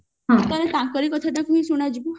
ତେଣୁ ତାଙ୍କରି କଥା ଟା ହିଁ ଶୁଣା ଯିବ